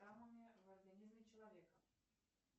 в организме человека